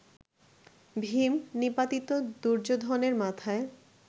ভীম, নিপাতিত দুর্যোধনের মাথায়